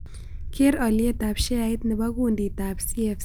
Keer alyetap sheait ne po kunditap cfc